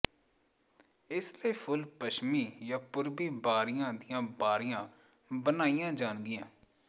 ਇਸ ਲਈ ਫੁੱਲ ਪੱਛਮੀ ਜਾਂ ਪੂਰਬੀ ਬਾਰੀਆਂ ਦੀਆਂ ਬਾਰੀਆਂ ਬਣਾਈਆਂ ਜਾਣਗੀਆਂ